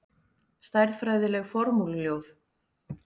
Stærðfræðileg formúluljóð.